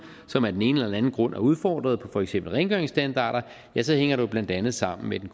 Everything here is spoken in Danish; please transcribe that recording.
som af den ene eller den anden grund er udfordret på for eksempel rengøringsstandarder så hænger det jo blandt andet sammen med den